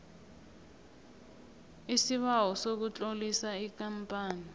isibawo sokutlolisa ikampani